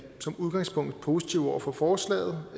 som udgangspunkt positive over for forslaget